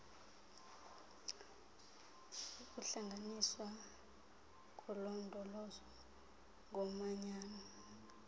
ukuhlanganiswa kolondolozo ngomanyano